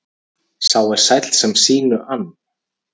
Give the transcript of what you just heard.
Sá er sæll sem sínu ann.